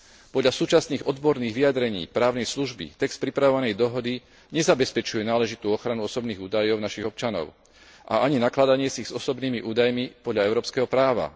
Podľa súčasných odborných vyjadrení právnej služby text pripravovanej dohody nezabezpečuje náležitú ochranu osobných údajov našich občanov a ani nakladanie si s osobnými údajmi podľa európskeho práva.